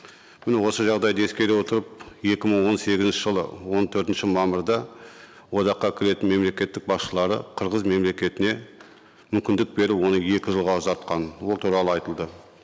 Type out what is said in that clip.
міне осы жағдайды ескере отырып екі мың он сегізінші жылы он төртінші мамырда одаққа кіретін мемлекеттік басшылары қырғыз мемлекетіне мүмкіндік беру оны екі жылға ұзартқан ол туралы айтылды